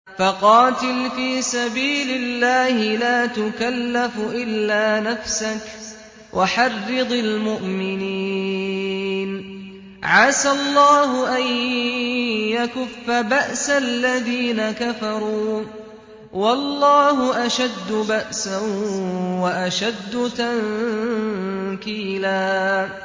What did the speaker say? فَقَاتِلْ فِي سَبِيلِ اللَّهِ لَا تُكَلَّفُ إِلَّا نَفْسَكَ ۚ وَحَرِّضِ الْمُؤْمِنِينَ ۖ عَسَى اللَّهُ أَن يَكُفَّ بَأْسَ الَّذِينَ كَفَرُوا ۚ وَاللَّهُ أَشَدُّ بَأْسًا وَأَشَدُّ تَنكِيلًا